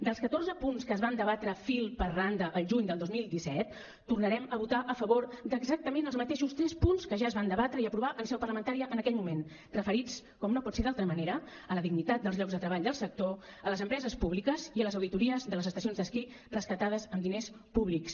dels catorze punts que es van debatre fil per randa al juny del dos mil disset tornarem a votar a favor d’exactament els mateixos tres punts que ja es van debatre i aprovar en seu parlamentària en aquell moment referits com no pot ser d’altra manera a la dignitat dels llocs de treball del sector a les empreses públiques i a les auditories de les estacions d’esquí rescatades amb diners públics